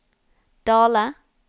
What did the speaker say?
Dale